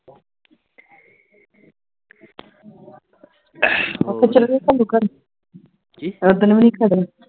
ਆਪਾਂ ਚੱਲੀਏ ਓਦਣ ਵੀ